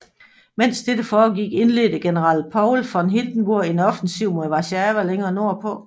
Mens dette foregik indledte general Paul von Hindenburg en offensiv mod Warszawa længere nordpå